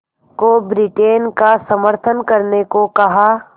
को ब्रिटेन का समर्थन करने को कहा